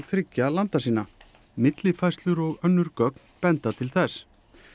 þriggja landa sinna millifærslur og önnur gögn benda til þess